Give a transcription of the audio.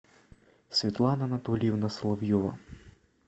светлана анатольевна соловьева